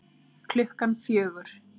Klukkan fjögur